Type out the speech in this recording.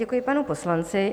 Děkuji panu poslanci.